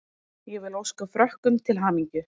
Ég vil óska Frökkum til hamingju.